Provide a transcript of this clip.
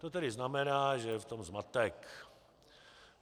To tedy znamená, že je v tom zmatek.